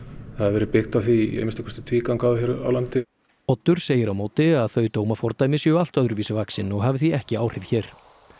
verið byggt á því í að minnsta kosti tvígang áður hér á landi Oddur segir á móti að þau dómafordæmi séu allt öðruvísi vaxin og hafi því ekki áhrif hér